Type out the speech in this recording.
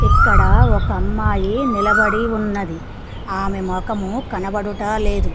ఇక్కడ ఒక అమ్మాయి నిలబడి ఉన్నది ఆమె మొఖము కనబడుటలేదు.